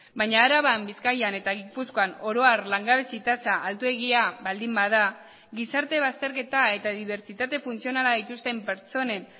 baina araban bizkaian eta gipuzkoan oro har langabezi tasa altuegia baldin bada gizarte bazterketa eta dibertsitate funtzionala dituzten pertsonen